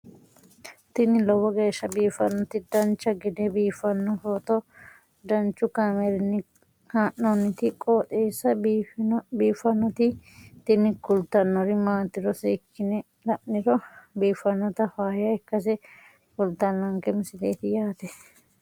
tini lowo geeshsha biiffannoti dancha gede biiffanno footo danchu kaameerinni haa'noonniti qooxeessa biiffannoti tini kultannori maatiro seekkine la'niro biiffannota faayya ikkase kultannoke misileeti yaate